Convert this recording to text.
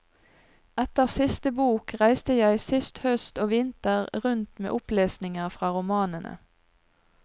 Etter siste bok reiste jeg sist høst og vinter rundt med opplesninger fra romanene.